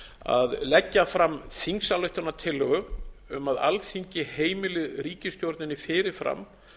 að leggja fram þingsályktunartillögu um að alþingi heimili ríkisstjórninni fyrir fram